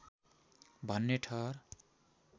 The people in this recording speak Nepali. भन्ने ठहर